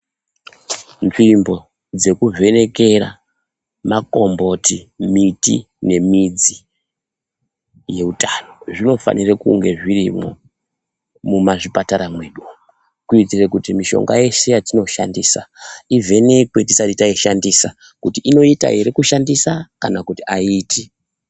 Nzvimbo dzekuvhenekera makomboti, miti ,nemidzi yeutano zvinofanire kunge zvirimwo mumazvipatara mwedu kuitira kuti mishonga yese yatinoshandisa ivhenekwe tisati taishandisa kuti tione kuti inoita ere kushandisa kana kuti aiiti.